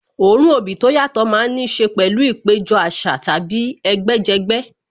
Òórùn obì tó yàtọ̀ má ń níṣe pẹ̀lú ìpéjọ àṣà tàbí ẹgbẹ́ jẹgbẹ́